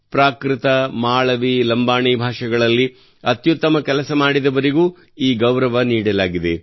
ಪ್ರಾಕೃತ ಮಾಳವಿ ಲಂಬಾಡಿ ಭಾಷೆಗಳಲ್ಲಿ ಅತ್ಯುತ್ತಮ ಕೆಲಸ ಮಾಡಿದವರಿಗೂ ಈ ಗೌರವ ನೀಡಲಾಗಿದೆ